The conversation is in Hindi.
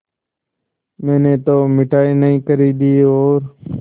मैंने तो मिठाई नहीं खरीदी और